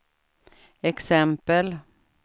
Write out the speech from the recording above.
exempel